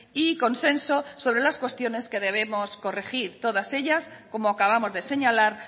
y consenso sobre las cuestiones que debemos corregir todas ellas como acabamos de señalar